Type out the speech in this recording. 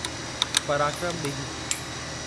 पराक्रम ॾींहुं